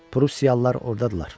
Prusiyalılar ordadırlar.